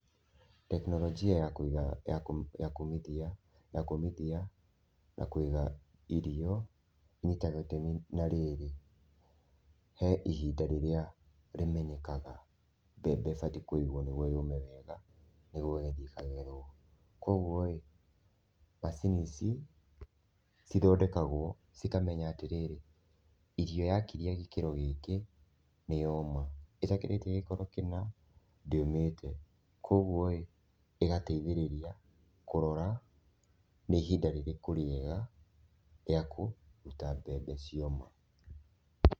Teknolojia ya kũiga ya kũũmithia ya kũũmithia na kũiga irio ĩnyitaga itemi na rĩrĩ he ihinda rĩrĩa rĩmenyekaga mbembe ĩbatiĩ kũigũo, nĩ guo yũũme wega, nĩ guo ĩgagĩthi ĩkagethũo. Kwoguo ĩ, macini ici cithondekagũo cikamenya atĩ rĩrĩ, irio yakĩria gĩkĩro gĩkĩ nĩ yoma, ĩtakĩrĩtie gĩkĩro kĩna ndĩ ũmĩte, kwoguo ĩ ĩgateithĩrĩria kũrora nĩ ihinda rĩrĩkũ rĩega rĩa kũruta mbembe cioma.